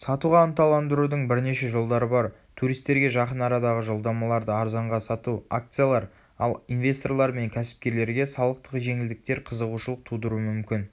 сатуға ынталандырудың бірнеше жолдары бар туристерге жақын арадағы жолдамаларды арзанға сату акциялар ал инвесторлар мен кәсіпкерлерге салықтық жеңілдіктер қызығушылық тудыруы мүмкін